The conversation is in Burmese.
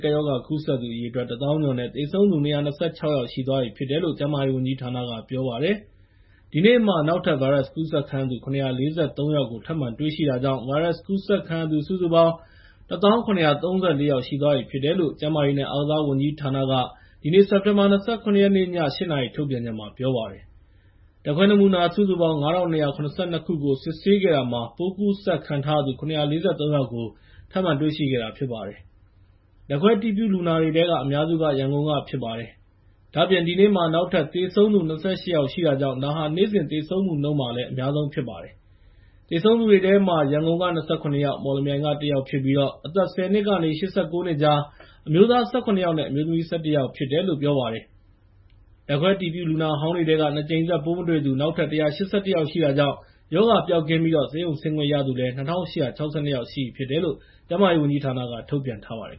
ကပ်ရောဂါ ကူးစက်ခံရသူ အရေအတွက် ၁၀,၀၀၀ ကျော်နဲ့ သေဆုံးသူ ၂၂၆ ယောက်ရှိသွားပြီဖြစ်တယ်လို့ ကျန်းမာရေးဝန်ကြီးဌာနက ပြောပါတယ်။ ဒီနေ့မှာ နောက်ထပ် ဗိုင်းရပ်စ်ကူးစက်ခံရသူ ၇၄၃ ယောက်ကို ထပ်မံတွေ့ရှိခဲ့တာကြောင့် ဗိုင်းရပ်စ်ကူးစက်ခံရသူ စုစုပေါင်း ၁၀,၇၃၄ ယောက် ရှိသွားပြီဖြစ်တယ်လို့ ကျန်းမာရေးနဲ့ အားကစားဝန်ကြီးဌာနက ဒီနေ့ စက်တင်ဘာ ၂၇ ရက်နေ့ ည ၈ နာရီ ထုတ်ပြန်ချက်မှာ ပြောလိုက်ပါတယ်။ ဓာတ်ခွဲနမူနာ ၅,၂၇၂ ခုကို စစ်ဆေးခဲ့တာမှာ ပိုးကူးစက်ခံထားရသူ ၇၄၃ ယောက်ကို ထပ်မံတွေ့ရှိခဲ့တာ ဖြစ်ပါတယ်။ ဓာတ်ခွဲအတည်ပြုလူနာတွေထဲက အများစုက ရန်ကုန်က ဖြစ်ကြပါတယ်။ ဒါ့အပြင် ဒီနေ့မှာ နောက်ထပ်သေဆုံးသူ ၂၈ ယောက်ရှိတာကြောင့် ဒါဟာ နေ့စဉ်သေဆုံးမှုနှုန်းမှာလည်း အများဆုံးဖြစ်ပါတယ်။ သေဆုံးသူတွေထဲမှာ ရန်ကုန်က ၂၇ ယောက်နဲ့ မော်လမြိုင်က ၁ ယောက်ဖြစ်ပြီး အသက် ၁၀ နှစ်ကနေ ၈၉ နှစ်ကြား အမျိုးသား ၁၇ ယောက်နဲ့ အမျိုးသမီး ၁၁ ယောက် ဖြစ်တယ်လို့ ပြောပါတယ်။ ဓာတ်ခွဲအတည်ပြုလူနာဟောင်းတွေထဲက ၂ ကြိမ်ဆက် ပိုးမတွေ့သူ နောက်ထပ် ၁၈၁ ယောက်ရှိတာကြောင့် ရောဂါပျောက်ကင်းပြီး ဆေးရုံဆင်းခွင့်ရသူ ၂,၈၆၂ ယောက်ရှိပြီဖြစ်တယ်လို့ ကျန်းမာရေးဝန်ကြီးဌာနက ထုတ်ပြန်ထားပါတယ်